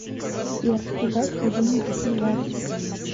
сбер прибавь к одиннадцати двадцать